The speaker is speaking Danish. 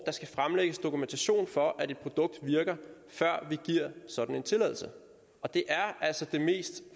der skal fremlægges dokumentation for at et produkt virker før vi giver sådan en tilladelse og det er altså det mest